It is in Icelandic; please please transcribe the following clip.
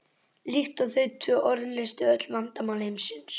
líkt og þau tvö orð leystu öll vandamál heimsins.